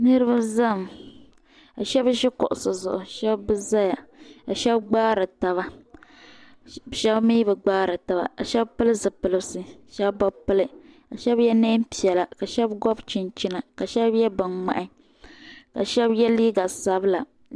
Niriba zami ka Sheba ʒi kuɣusi zuɣu Sheba zaya ka Sheba gbaari taba Sheba mi bɛ gbaari taba ka Sheba pili zipilisi Sheba bɛ pili ka Sheba ye niɛn piɛla Sheba gobi chinchina Sheba ye binŋmahi ka Sheba ye liiga sabila.